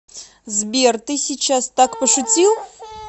сбер ты сейчас так пошутил